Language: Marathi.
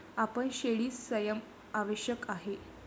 आपण शेळी संयम आवश्यक आहे.